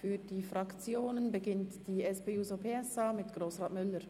Für die Fraktionen beginnt die SP-JUSO-PSA mit Grossrat Müller.